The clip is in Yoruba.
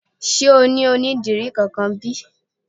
Sé o ní onídìrí kankan bí?